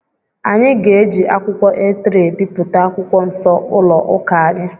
Anyị ga-eji akwụkwọ A3 ebipụta akwụkwọ Nsọ ụlọ ụka anyị.